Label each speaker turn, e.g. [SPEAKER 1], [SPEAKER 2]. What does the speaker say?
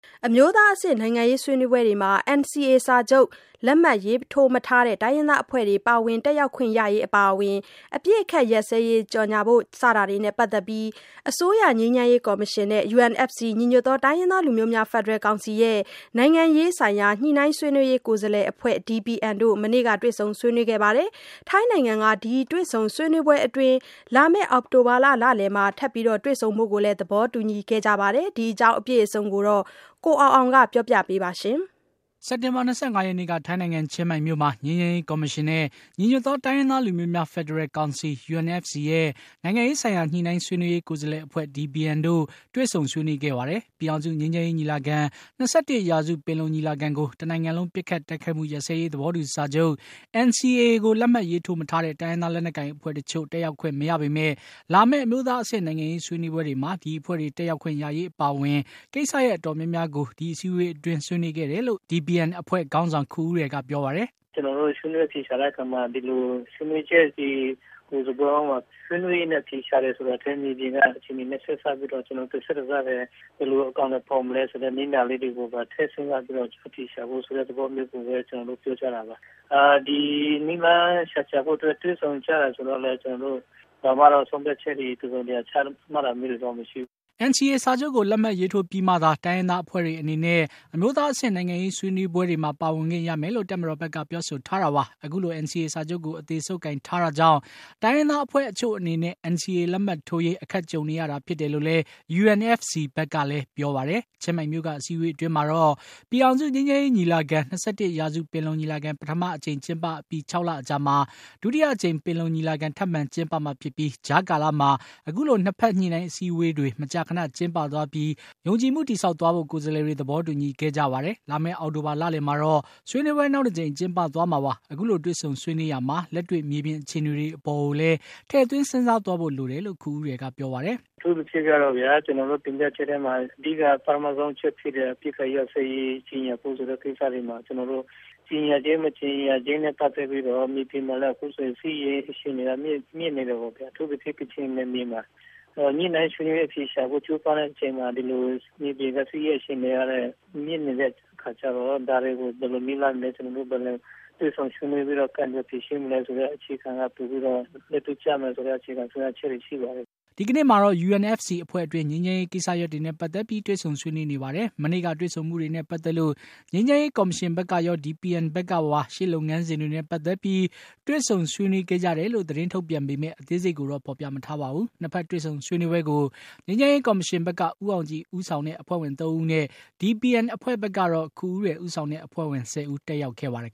[SPEAKER 1] အမျိုးသားအဆင့် နိုင်ငံရေးဆွေးနွေးပွဲတွေမှာ NCA စာချုပ်လက်မှတ်ရေးထိုးမထားတဲ့ တိုင်းရင်းသားအဖွဲ့တွေ ပါဝင်တက်ရောက်ခွင့်ရရေး အပါအဝင် အပစ်အခတ်ရပ်စဲရေး ကြေညာဖို့စတာတွေနဲ့ ပတ်သက်ပြီး အစိုးရ ငြိမ်းချမ်းရေးကော်မရှင်နဲ့ UNFC နိုင်ငံရေးဆိုင်ရာ ညှိနှိုင်းဆွေးနွေးရေးကိုယ်စားလှယ်အဖွဲ့ DPN တို့ မနေ့က တွေ့ဆုံဆွေးနွေးခဲ့ပါတယ်။ ထိုင်းနိုင်ငံက ဒီတွေ့ဆုံဆွေးနွေးပွဲအတွင်း လာမယ့် အောက်တိုဘာလလယ်မှာ ထပ်တွေ့ဆုံဖို့ သဘောတူခဲ့ကြပါတယ်။ ဒီအကြောင်း အပြည့်အစုံကို ကိုအောင်အောင်က တင်ပြပေးပါမယ်။
[SPEAKER 2] စက်တင်ဘာ ၂၅ ရက်နေ့က ထိုင်းနိုင်ငံ ၊ ချင်းမိုင်မြို့မှာ ငြိမ်းချမ်းရေး ကော်မရှင်နဲ့ ညီညွတ်သောတိုင်းရင်းသားလူမျိုးများ ဖက်ဒရယ်ကောင်စီ UNFC ရဲ့ နိုင်ငံရေးဆိုင်ရာ ညှိနှိုင်းဆွေးနွေးရေး ကိုယ်လှယ်အဖွဲ့ DPN အဖွဲ့တို့ တွေ့ဆုံဆွေးနွေးခဲ့ပါတယ်။ ပြည်ထောင်စု ငြိမ်းချမ်းရေးညီလာခံ ၂၁ ရာစု ပင်လုံညီလာခံကို တနိုင်ငံလုံးပစ်ခတ်တိုက် ခိုက်မှုရပ်စဲရေးသဘောတူစာချုပ် NCA ကို လက်မှတ်ရေးထိုးမထားတဲ့ တိုင်းရင်းသား လက်နက်ကိုင်အဖွဲ့တချို့ တက်ရောက်ခွင့်မရပေမယ့်၊ လာမယ့် အမျိုးသားအဆင့် နိုင်ငံရေးဆွေးနွေးပွဲတွေမှာ ဒီအဖွဲ့တွေ တက်ရောက်ခွင့်ရရေးအပါအဝင် ကိစ္စရပ်အတော်များများကို ဒီအစည်းအဝေးအတွင်း ဆွေးနွေးခဲ့တယ်လို့ DPN အဖွဲ့ခေါင်းဆောင် ခူဦးရယ်က ပြောပါတယ်။
[SPEAKER 3] “ကျနော်တို့ ဆွေးနွေးအဖြေရှာတဲ့အခါမှာ ဒီလိုဆွေးနွေးချက်တွေကို ဆွေးနွေးရင်းနဲ့ အဖြေရှာတယ်ဆိုတာထက် တကယ့်မြေပြင်ကအခြေအနေတွေနဲ့ ဆက်စပ်ပြီးတော့ ဘယ်လိုအကောင်အထည်ဖော်မလဲဆိုတာတွေကို နည်းနာလေးတွေကို ထည့်စဉ်းစားပြီးတော့ အဖြေရှာဖို့ ဆိုတဲ့သဘောမျိုးကျနော်တို့ပြောကြတာပါ။ ဒီနည်းလမ်းရှာဖို့အတွက်တွေ့ဆုံကြတာဆိုတော့ ဘာမှ ကျနော်တို့ ဆုံးဖြတ်ချက်တစုံတရာချတာမျိုးတွေတော့ မရှိဘူး။
[SPEAKER 2] " NCA စာချုပ်ကို လက်မှတ်ရေးထိုးပြီးမှသာ တိုင်းရင်းသားအဖွဲ့တွေအနေနဲ့ အမျိုးသားအဆင့် နိုင်ငံရေးဆွေးနွေးပွဲတွေမှာ ပါဝင်ခွင့်ရမယ်လို့ တပ်မတော်ဘက်က ပြောဆိုထားတာပါ။ အခုလို NCA စာချုပ်ကို အသေဆုပ်ကိုင်ထားတာကြောင့် တိုင်းရင်းသားအဖွဲ့အချို့အနေနဲ့ NCA လက်မှတ်ထိုးရေး အခက်ကြုံနေရတာဖြစ်တယ်လို့လည်း UNFC ဘက်ကပြောပါတယ်။ ချင်းမိုင်မြု့ိက အစည်းအဝေးအတွင်းမှာတော့ ပြည်ထောင်စုငြိမ်းချမ်းရေးညီလာခံ ၂၁ ရာစုပင်လုံညီလာခံ ပထမအကြိမ်ကျင်းပအပြီး ၆ လအကြာမှာ ဒုတိယအကြိမ် ပင်လုံညီလာခံ ထပ်မံကျင်းပမှာဖြစ်ပြီး ကြားကာလမှာ အခုလို ညှိနှိုင်းအစည်းအဝေးတွေ မကြာခဏကျင်းပသွားပြီး ယုံကြည်မှုတည်ဆောက်သွားဖို့ ၂ ဘက်ကိုယ်စားလှယ်တွေ သဘောတူညီခဲ့ကြပါတယ်။ လာမယ့် အောက်တိုဘာလလယ်မှာတော့ ဆွေးနွေးပွဲ နောက်တကြိမ်ကျင်းပသွားမှာပါ။ အခုလို တွေ့ဆုံဆွေးနွေးရာမှာ လက်တွေ့မြေပြင်အခြေအနေတွေနဲ့လည်း ထည့်သွင်းစဉ်းစားသွားဖို့လိုတယ်လို့ ခူဦးရယ်ကပြောပါတယ်။
[SPEAKER 3] “အထူးသဖြင့်ကတော့ ကျနော်တို့တင်ပြချက်ထဲမှာ အဓိကပထမဆုံးအချက်ဖြစ်တဲ့ အပစ်အခတ်ရပ်စဲရေး ကြေညာဖို့ဆိုတဲ့ဟာမှာ ကြေညာခြင်း၊ မကြေညာခြင်း နဲ့ ပတ်သက်ပြီးတော့ မြေပြင်မှာလည်း အခုဆိုရင် စစ်ရေး အခြေအနေကမြင့်နေတယ်ပေါ့ဗျာ။ အထူးသဖြင့် ကချင်ပြည်နယ်မှာ ၊ အခုလို ညှိနှိုင်းဆွေးနွေးအဖြေရှာဖို့ ကြိုးပမ်းတဲ့အချိန်မှာ အခုလို မြေပြင်စစ်ရေးအခြေအနေကလည်း မြင့်နေတဲ့အတွက်ကြောင့် ဒါတွေကို ဘယ်လိုနည်းလမ်းနဲ့ ၊ တွေ့ဆုံဆွေးနွေးပြီးတော့ ကိုင်တွယ်ဖြေရှင်းမလဲဆိုတဲ့အခြေခံက ပိုပြီးတော့ လက်တွေ့ကျမယ်ဆိုတဲ့ အခြေခံဆုံးဖြတ်ချက်တွေရှိပါတယ်။
[SPEAKER 2] ” ဒီကနေ့မှာတော့ UNFC အဖွဲ့အတွင်း ငြိမ်းချမ်းရေးကိစ္စရပ်တွေနဲ့ ပတ်သတ်ပြီး တွေ့ဆုံဆွေးနွေးနေပါတယ်။ မနေ့ကတွေ့ဆုံမှုနဲ့ ပတ်သက်လို့ ငြိမ်းချမ်းရေးကော်မရှင်ဘက်ကရော DPN ဘက်ကပါ ရှေ့လုပ်ငန်စဉ်းတွေနဲ့ ပတ်သက်ပြီး တွေ့ဆုံဆွေးနွေးခဲ့ကြတယ်လို့ သတင်းထုတ်ပြန်ပေမယ့် အသေးစိတ်ကိုတော့ ဖေါ်ပြမထားပါဘူး ။ ၂ ဖက်တွေ့ဆုံဆွေးနွေးပွဲကို ငြိမ်းချမ်းရေးကော်မရှင်ဘက်က ဦးအောင်ကြည် ဦးဆောင်တဲ့ အဖွဲ့ဝင် ၃ ဦးနဲ့ DPN အဖွဲ့ဘက်ကတော့ ခူဦးရယ်ဦးဆောင်တဲ့ အဖွဲ့ဝင် ၁၀ ဦး တက်ရောက်ခဲ့ပါတယ်